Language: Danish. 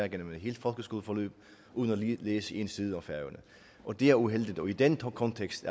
igennem et helt folkeskoleforløb uden at læse en side om færøerne og det er uheldigt i den kontekst